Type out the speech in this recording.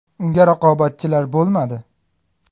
Unga raqobatchilar bo‘lmadi.